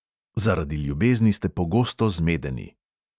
Zaradi ljubezni ste pogosto zmedeni.